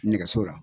Nɛgɛso la